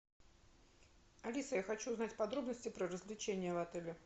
алиса я хочу узнать подробности про развлечения в отеле